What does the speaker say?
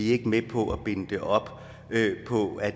ikke med på at binde det op på at